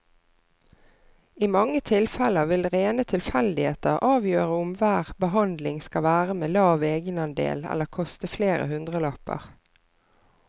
I mange tilfeller vil rene tilfeldigheter avgjøre om hver behandling skal være med lav egenandel eller koste flere hundrelapper.